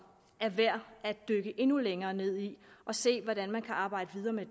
er værd at dykke endnu længere ned i og se hvordan man kan arbejde videre med